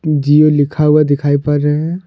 जिओ लिखा हुआ दिखाई पड़ रहे है।